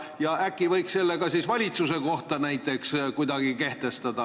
Ja ehk võiks selle siis ka kuidagi valitsuse kohta kehtestada?